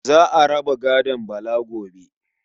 Za a raba gadon Bala gobe.